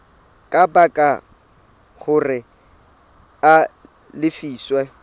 ka baka hore a lefiswe